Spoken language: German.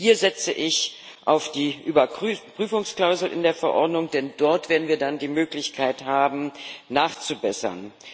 Hier setze ich auf die Überprüfungsklausel in der Verordnung, denn dort werden wir dann die Möglichkeit haben, nachzubessern.